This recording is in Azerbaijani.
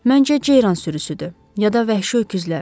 Məncə ceyran sürüsüdür ya da vəhşi öküzlər.